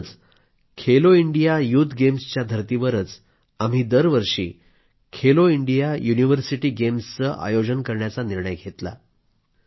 म्हणूनच आम्ही Khelo India youth गेम्सच्या धर्तीवरच दरवर्षी खेलो इंडिया युनिव्हर्सिटी गेम्सचे आयोजन करण्याचा निर्णय घेतला आहे